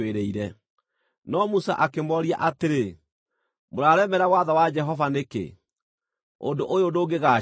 No Musa akĩmooria atĩrĩ, “Mũraremera watho wa Jehova nĩkĩ? Ũndũ ũyũ ndũngĩgaacĩra!